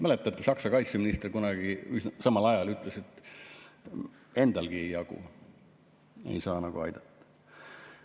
Mäletate, Saksa kaitseminister samal ajal ütles, et endalegi ei jagu, ei saa nagu aidata.